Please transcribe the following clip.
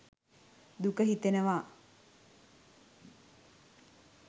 දුක හිතෙනවා